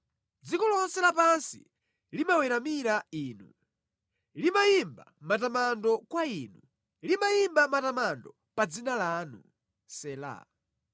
Dziko lonse lapansi limaweramira inu; limayimba matamando kwa Inu; limayimba matamando pa dzina lanu.” Sela.